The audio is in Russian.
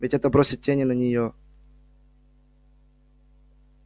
ведь это бросит тень и на неё